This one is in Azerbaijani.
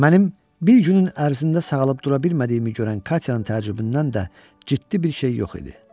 Mənim bir günün ərzində sağalıb dura bilmədiyimi görən Katyanın təəccübündən də ciddi bir şey yox idi.